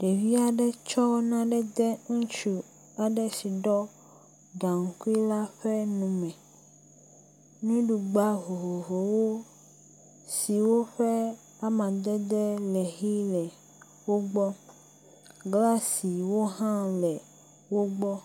Ɖevi aɖe tsɔ nane de ŋutsu si ɖiɔ gaŋkui la ƒe nume, nuɖugba vovovowo siwo ƒe amadede le ɣi le wogbɔ. Glasiwo hã le wogbɔ.